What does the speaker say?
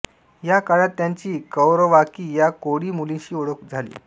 या काळात त्याची कौरवाकी या कोळी मुलीशी ओळख झाली